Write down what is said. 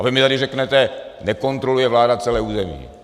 A vy mi tady řeknete - nekontroluje vláda celé území.